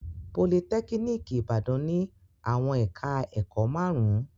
Politẹ́kíníkì Ìbàdàn ní àwọn ẹ̀ka-ẹ̀kọ́ márùn-ún.